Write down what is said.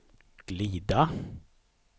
glida